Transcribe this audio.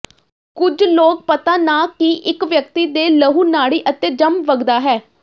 ਕੁਝ ਲੋਕ ਪਤਾ ਨਾ ਕਿ ਇਕ ਵਿਅਕਤੀ ਦੇ ਲਹੂ ਨਾੜੀ ਅਤੇ ਜੰਮ ਵਗਦਾ ਹੈ